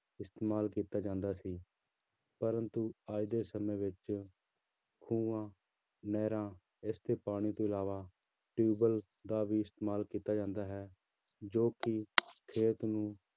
ਇਸਤੇਮਾਲ ਕੀਤਾ ਜਾਂਦਾ ਸੀ ਪਰੰਤੂ ਅੱਜ ਦੇ ਸਮੇਂ ਵਿੱਚ ਖੂਹਾਂ ਨਹਿਰਾਂ ਇਸਦੇ ਪਾਣੀ ਤੋਂ ਇਲਾਵਾ ਟਿਊਬਵੈਲ ਦਾ ਵੀ ਇਸਤੇਮਾਲ ਕੀਤਾ ਜਾਂਦਾ ਹੈ ਜੋ ਕਿ ਖੇਤ ਨੂੰ